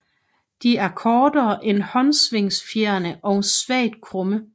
De er kortere end håndsvingfjerene og svagt krumme